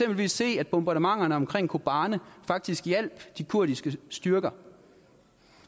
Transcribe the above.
kunnet se at bombardementerne omkring kobane faktisk hjalp de kurdiske styrker